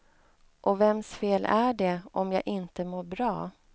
Och vems fel är det om jag inte mår bra?